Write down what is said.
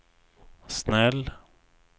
snäll